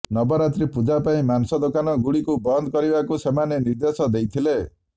ନବରାତ୍ରୀ ପୂଜା ପାଇଁ ମାଂସ ଦୋକାନ ଗୁଡ଼ିକୁ ବନ୍ଦ କରିବାକୁ ସେମାନେ ନିର୍ଦ୍ଦେଶ ଦେଇଥିଲେ